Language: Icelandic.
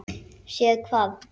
Séð hvað?